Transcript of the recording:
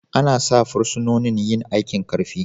Ana sa fursunonin yin aikin Karfi.